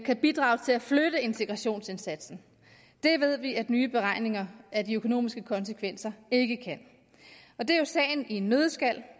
kan bidrage til at flytte integrationsindsatsen det ved vi at nye beregninger af de økonomiske konsekvenser ikke kan det er jo sagen i en nøddeskal